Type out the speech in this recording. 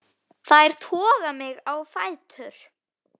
Þær toga mig á fætur.